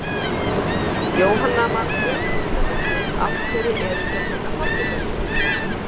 Jóhanna Margrét Gísladóttir: Af hverju eruð þið að taka þátt í þessu?